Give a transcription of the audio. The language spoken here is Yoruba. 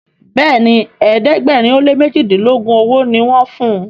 Béèni ẹ̀ẹ́dẹ̀gbẹ̀rin o lẹ mẹjidilogun ọwó ní wón fún.